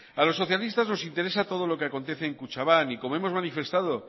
a los socialistas nos interesa todo lo que acontece en kutxabank y como hemos manifestado